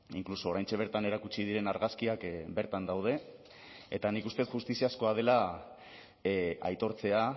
inkluso oraintxe bertan erakutsi diren argazkiak bertan daude eta nik uste dut justiziakoa dela aitortzea